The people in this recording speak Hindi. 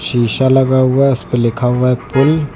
शीशा लगा हुआ है उसपे लिखा हुआ है पुल ।